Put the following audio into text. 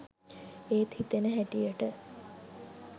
එත් හිතෙන හැටියට